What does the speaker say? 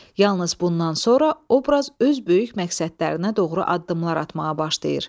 Yalnız bundan sonra obraz öz böyük məqsədlərinə doğru addımlar atmağa başlayır.